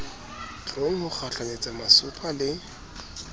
tlong ho kgahlanyetsa masopha le